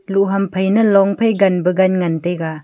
loh ham phai na long phai ganpa gan ngantaiga.